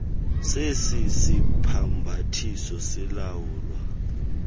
zesi sibhambathiso zilawulwa